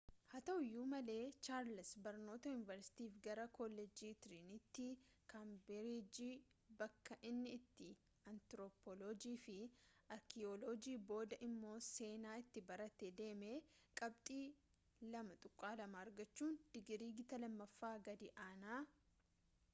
haa ta’uu iyyuu malee charles barnoota yuunivarsitiif gara kolleejjii tiriinitiie kaambirijii bakka inni itti antirooppooloojii fi arkiyooloojii booda immoo seenaa itti barate deeme qabxii 2:2 argachuun digirii gita lammaffaa gad aanaa